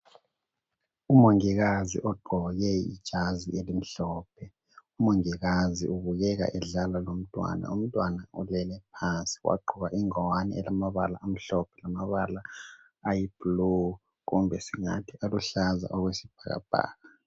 Umongikazi ogqoke ijazi elimhlophe . Umongikazi ubukeka edlala lomntwana umntwana olele phansi wagqoka ingwani elamabala amhlophe lamabala ayiblue kumbe singathi aluhlaza okwesibhakabhaka .